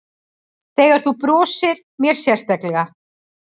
Þegar þú brosir mér sérstaklega.